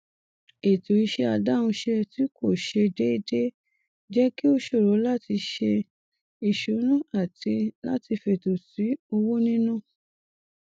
ètò iṣẹ adáhunṣe tí kò ṣe déédé jẹ kí ó ṣòro láti ṣe ìṣúná àti láti fètò sí owó níná